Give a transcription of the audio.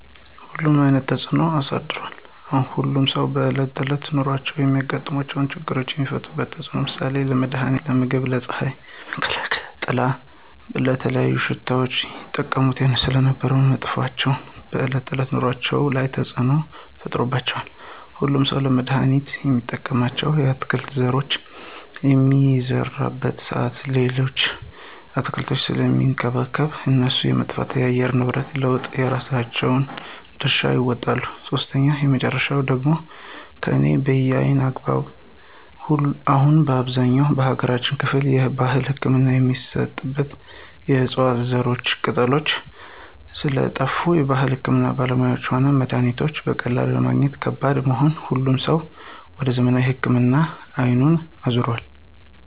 ሁሉንም አይነት ተፅኖ አሳድሯል። ሁሉም ሰዎች በእለት ተዕለት ኑሯቸው የሚያጋጥሙ ችግሮችን የሚፈቱባቸው ዕፅዋቶች ለምሳሌ :- ለመድሀኒትነት, ለምግብነት, ለፅሀይ መከላከያነት/ጥላ/,ለተለያዩ ሽቶዎች ይጠቀሙባቸው ስለነበር መጥፋታቸው በዕለት ከዕለት ኑሮአቸው ላይ ተፅዕኖ ተፈጥሮባቸዋል። ሁሉም ሠው ለመድሀኒትነት የሚጠቀምባቸውን የአትክልት ዘሮች በሚዘራበት ሰአት ሌሎችን አትክልቶች ስለሚንከባከብ የእነሱ መጥፋት ለአየር ንብረት ለውጡ የራሳቸውን ድርሻ ይወጣሉ። ሶስተኛውና የመጨረሻው ደግሞ ከላይ በአየነው አግባብ አሁን በአብዛኛው የሀገራችን ክፍል የባህል ህክምና የሚሰራበት የዕፅዋት ዘሮችና ቅጠሎች ስለጠፍ የባህል ህክምና ባለሙያዎችም ሆነ መድሀኒቶች በቀላሉ ለማግኘት ከባድ በመሆኑ ሁሉም ሰው ወደ ዘመናዊ ህክምና አይኑን አዞሯል።